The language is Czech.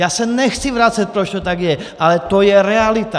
Já se nechci vracet, proč to tak je, ale to je realita.